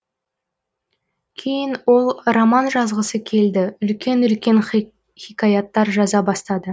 кейін ол роман жазғысы келді үлкен үлкен хикаяттар жаза бастады